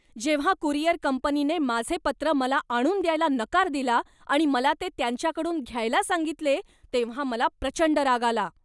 जेव्हा कुरिअर कंपनीने माझे पत्र मला आणून द्यायला नकार दिला आणि मला ते त्यांच्याकडून घ्यायला सांगितले तेव्हा मला प्रचंड राग आला.